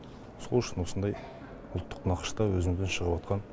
сол үшін осындай ұлттық нақышта өзімізден шығып атқан